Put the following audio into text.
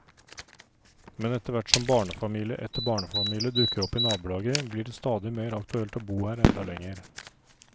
Men etterhvert som barnefamilie etter barnefamilie dukker opp i nabolaget, blir det stadig mer aktuelt å bo her enda lenger.